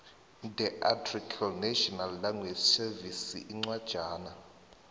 ndearticlenational language servicesincwajana